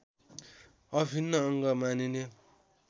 अभिन्न अङ्ग मानिने